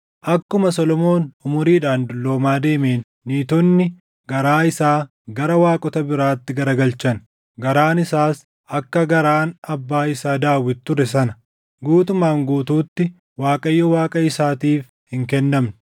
Akkuma Solomoon umuriidhaan dulloomaa deemeen niitonni garaa isaa gara waaqota biraatti garagalchan; garaan isaas akka garaan abbaa isaa Daawit ture sana guutumaan guutuutti Waaqayyo Waaqa isaatiif hin kennamne.